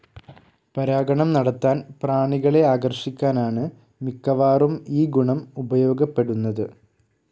പരാഗണം നടത്താൻ പ്രാണികളെ ആകർഷിക്കാനാണ് മിക്കവാറും ഈ ഗുണം ഉപയോഗപ്പെടുന്നത്.